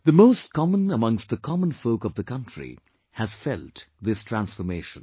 The most common amongst the common folk of the country has felt this transformation